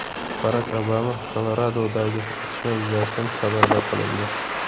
Barak Obama Koloradodagi otishma yuzasidan xabardor qilindi.